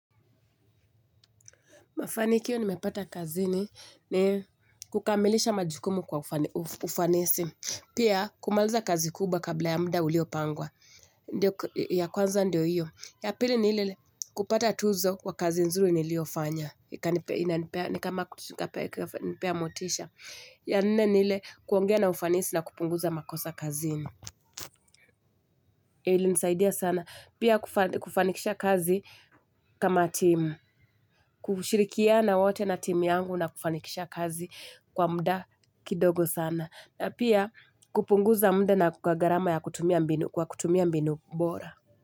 Mafanikio nimepata kazini ni kukamilisha majukumu kwa ufanisi. Pia kumaliza kazi kubwa kabla ya mda uliopangwa. Ndiyo ya kwanza ndio hiyo. Ya pili niile kupata tuzo wa kazi nzuri niliofanya. Ni kama kutikapea nipea motisha. Ya nne niile kuongea na ufanisi na kupunguza makosa kazini. Ilinisaidia sana. Pia kufanikisha kazi kama team. Kushirikiana wote na team yangu na kufanikisha kazi kwa mda kidogo sana. Na pia kupunguza mda na kukagarama ya kutumia mbinu. Kwa kutumia mbinu mbora.